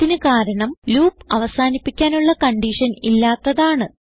ഇതിന് കാരണം ലൂപ് അവസാനിപ്പിക്കാനുള്ള കൺഡിഷൻ ഇല്ലാത്തതാണ്